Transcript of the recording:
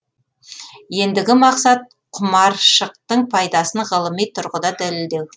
ендігі мақсат құмаршықтың пайдасын ғылыми тұрғыда дәлелдеу